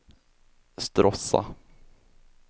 Stråssa